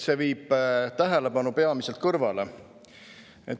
See viib tähelepanu peamiselt kõrvale.